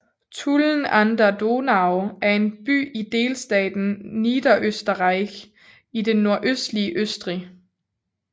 Tulln an der Donau er en by i delstaten Niederösterreich i det nordøstlige Østrig